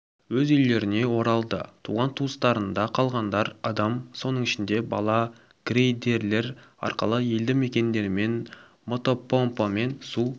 өз үйлеріне оралды туған-туысқандарында қалғандар адам соның ішінде бала грейдерлер арқылы елді мекендерден мотопомпамен су